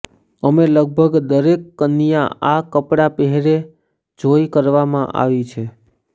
અમે લગભગ દરેક કન્યા આ કપડાં પહેરે જોઈ કરવામાં આવી છે